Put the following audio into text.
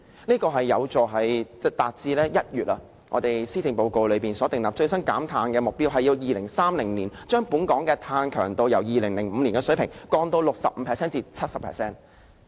這樣有助達致今年1月施政報告所訂立，最新減碳的目標是在2030年將本港的碳強度，由2005年的水平降至 65% 至 70%。